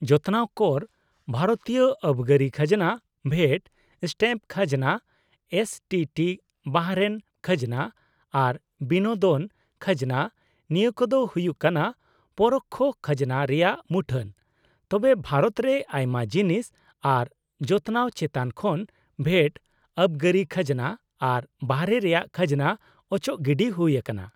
-ᱡᱚᱛᱱᱟᱣ ᱠᱚᱨ, ᱵᱷᱟᱨᱚᱛᱤᱭᱟᱹ ᱟᱵᱜᱟᱹᱨᱤ ᱠᱷᱟᱡᱱᱟ, ᱵᱷᱮᱴ, ᱥᱴᱮᱢᱯ ᱠᱷᱟᱡᱱᱟ, ᱮᱥᱴᱤᱴᱤ, ᱵᱟᱦᱨᱮᱱ ᱠᱷᱟᱡᱱᱟ ᱟᱨ ᱵᱤᱱᱳᱫᱚᱱ ᱠᱷᱟᱡᱱᱟ, ᱱᱤᱭᱟᱹ ᱠᱚᱫᱚ ᱦᱩᱭᱩᱜ ᱠᱟᱱᱟ ᱯᱚᱨᱳᱠᱠᱷᱚ ᱠᱷᱟᱡᱱᱟ ᱨᱮᱭᱟᱜ ᱢᱩᱴᱷᱟᱹᱱ, ᱛᱚᱵᱮ ᱵᱷᱟᱨᱚᱛ ᱨᱮ ᱟᱭᱢᱟ ᱡᱤᱱᱤᱥ ᱟᱨ ᱡᱚᱛᱱᱟᱣ ᱪᱮᱛᱟᱱ ᱠᱷᱚᱱ ᱵᱷᱮᱴ, ᱟᱵᱜᱟᱹᱨᱤ ᱠᱷᱟᱡᱱᱟ ᱟᱨ ᱵᱟᱦᱨᱮ ᱨᱮᱭᱟᱜ ᱠᱷᱟᱡᱱᱟ ᱚᱪᱚᱜ ᱜᱤᱰᱤ ᱦᱩᱭᱟᱠᱟᱱᱟ ᱾